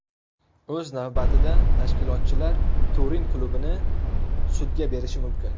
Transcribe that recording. O‘z navbatida tashkilotchilar Turin klubini sudga berishi mumkin.